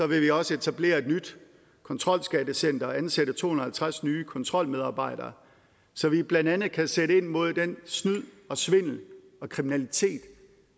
vi også etablere et nyt kontrolskattecenter og ansætte to hundrede og halvtreds nye kontrolmedarbejdere så vi blandt andet kan sætte ind mod den snyd og svindel og kriminalitet